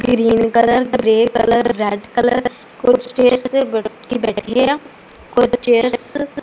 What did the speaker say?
green colour grey colour red colour ਕੁਝ chairs ਤੇ ਵਿਅਕਤੀ ਬੈਠੇ ਆ ਕੁਝ ਚੇਅਰਸ --